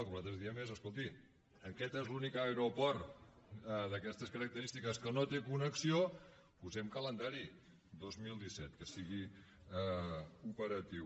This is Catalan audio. el que nosaltres diem és escolti aquest és l’únic aeroport d’aquestes característiques que no té connexió posem calendari dos mil disset que sigui operatiu